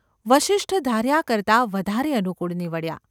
વસિષ્ઠ ધાર્યા કરતાં વધારે અનુકૂળ નીવડ્યા.